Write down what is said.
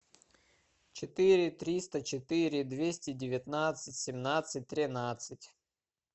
четыре триста четыре двести девятнадцать семнадцать тринадцать